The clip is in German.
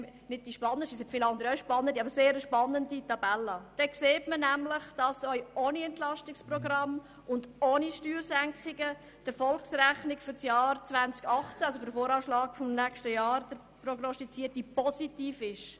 Diese zeigt, dass auch ohne EP und ohne Steuersenkungen die Erfolgsrechnung 2018, das heisst der prognostizierte VA des nächsten Jahres, positiv ist.